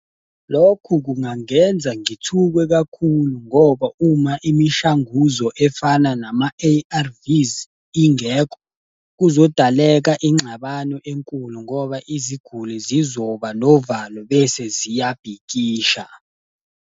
Lokhu kungangenza ngithuke kakhulu ngoba uma imishanguzo efana nama-A_R_Vs ingekho, kuzodaleka ingxabano enkulu ngoba iziguli zizoba novalo bese ziyabhikisha.